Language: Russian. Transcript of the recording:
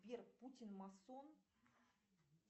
сбер путин масон